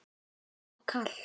Er of kalt.